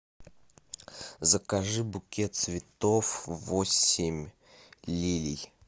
закажи букет цветов восемь лилий